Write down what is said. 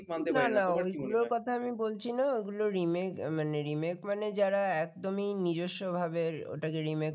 ঐগুলোর কথা আমি বলছি না ওইগুলো Remake মানে Remake মানে যারা একদমই নিজস্ব ভাবে ওটাকে remake করে